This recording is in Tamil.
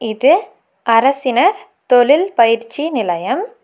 இது அரசினர் தொழில் பயிற்சி நிலையம்.